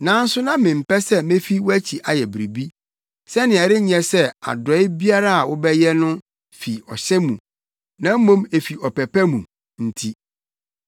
Nanso na mempɛ sɛ mefi wʼakyi ayɛ biribi, sɛnea ɛrenyɛ sɛ adɔe biara a wobɛyɛ no fi ɔhyɛ mu na mmom efi ɔpɛ pa mu nti.